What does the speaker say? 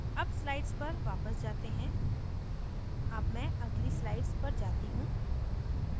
अब slides पर वापस जाते हैं अब मैं अगली slides पर जाती हूँ